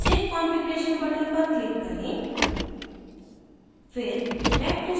नीचे save configuration button पर click करें